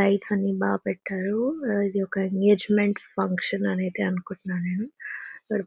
lights అన్ని బాగ పెట్టారు ఇది ఒక ఎంగేజ్మెంట్ ఫంక్షన్ అనేది అనుకుంటున్నాను ఇక్కడ